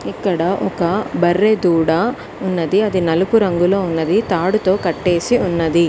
ఇక్కడ ఒక బర్రె దూడ ఉన్నది అది నలుపు రంగులో ఉన్నది తాడుతో కట్టేసి ఉన్నది.